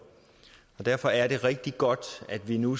derfor er det rigtig godt at vi nu